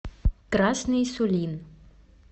красный сулин